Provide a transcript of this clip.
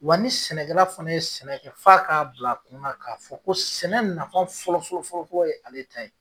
Wa ni sɛnɛkɛla fana ye sɛnɛ kɛ f'a k'a bil'a kun na ka fɔ ko sɛnɛ nafa fɔlɔfɔlɔfɔlɔ ye ale ta ye.